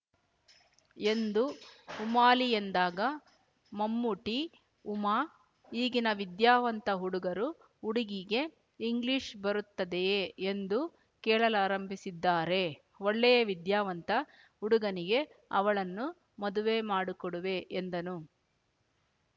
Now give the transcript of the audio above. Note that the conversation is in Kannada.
ಎಂದು ಉಮಾಲಿಯೆಂದಾಗ ಮೊಮ್ಮೂಟಿ ಉಮಾ ಈಗಿನ ವಿದ್ಯಾವಂತ ಹುಡುಗರು ಹುಡುಗಿಗೆ ಇಂಗ್ಲಿಷ್‌ಬರುತ್ತದೆಯೇ ಎಂದು ಕೇಳಲಾರಂಭಿಸಿದ್ದಾರೆ ಒಳ್ಳೆಯ ವಿದ್ಯಾವಂತ ಹುಡುಗನಿಗೆ ಅವಳನ್ನು ಮದುವೆ ಮಾಡು ಕೊಡುವೆ ಎಂದನು